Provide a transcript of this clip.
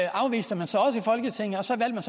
afviste man så også i folketinget og så valgte